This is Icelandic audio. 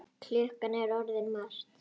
Klukkan er orðin margt.